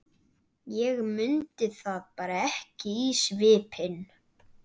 Ég mundi það bara ekki í svipinn.